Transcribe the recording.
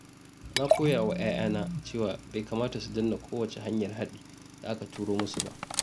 Na koya wa ƴaƴana cewa bai kamata su danna kowace hanyar haɗi da aka turo musu ba.